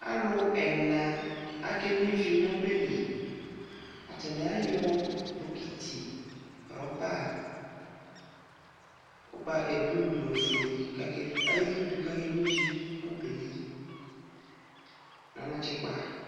Alʊ ɛna akeno ivi nʊ ɔbɛlɩ atanɩ ayɔ bɔkiti rɔba blʊ nʊ ofʊe kʊ ezudu kʊ akeno ivi nʊ ɔbɛlɩ nʊ anatsɛkpa